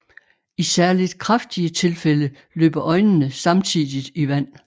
I særligt kraftige tilfælde løber øjnene samtidigt i vand